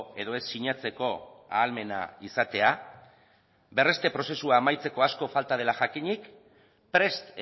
edo ez sinatzeko ahalmena izatea berreste prozesua amaitzeko asko falta dela jakinik prest